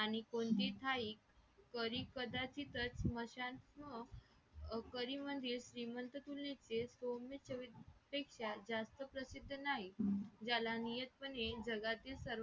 मी कोणते स्थान परी कदाचितच स्मशान ह परी म्हणजे श्रीमंत जास्त प्रसिद्ध नाही ज्याला नियत पणे जगातील सर्व